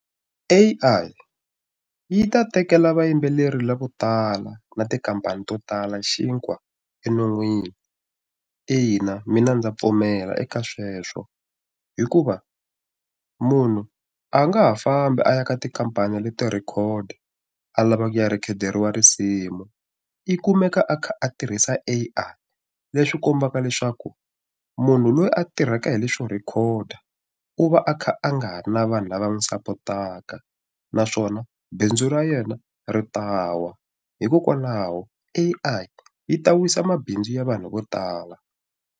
A_I yi ta tekela vayimbeleri lavo tala na tikhampani to tala xinkwa eminon'wini ina mina ndza pfumela eka sweswo hikuva munhu a nga ha fambi a ya ka tikhampani leto record a lavaka ku ya record-eriwa risimu i kumeka a kha a tirhisa A_I leswi kombaka leswaku munhu loyi a tirhaka hi leswo record u va a kha a nga ha ri na vanhu lava n'wi sapotaka naswona bindzu ra yena ri ta wa hikokwalaho A_I yi ta wisa mabindzu ya vanhu vo tala.